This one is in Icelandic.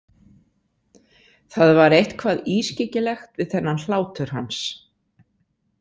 Það var eitthvað ískyggilegt við þennan hlátur hans.